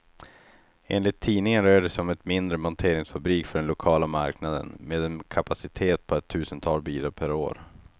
Enligt tidningen rör det sig om en mindre monteringsfabrik för den lokala marknaden, med en kapacitet på ett tusental bilar per år.